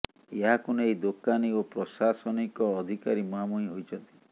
ଏହାକୁ ନେଇ ଦୋକାନୀ ଓ ପ୍ରଶାସନିକ ଅଧିକାରୀ ମୁହାଁମୁହିଁ ହୋଇଛନ୍ତି